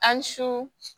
An su